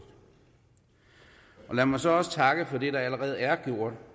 lad mig så også takke for det der allerede er gjort